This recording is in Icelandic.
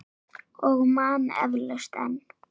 Og man eflaust enn.